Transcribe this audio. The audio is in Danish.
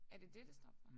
Er det det det står for?